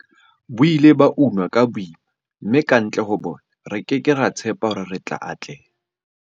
Bo ile ba unwa ka boima, mme kantle ho bona, re ke ke ra tshepa hore re tla atleha.